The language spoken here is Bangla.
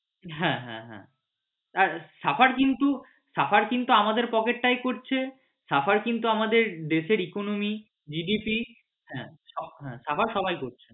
হ্যাঁ হ্যাঁ হ্যাঁ একদম suffer কিন্তু suffer কিন্তু আমাদের pocket টাই করছে। suffer কিন্তু আমাদের দেশের economy GDP হ্যাঁ suffer সবাই করছে